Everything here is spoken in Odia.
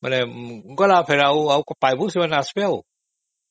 ବୋଲେ ସେମାନଙ୍କୁ ତୁ ପାଇବୁ ନା ଆଉ ସେମାନେ ଆସିବେ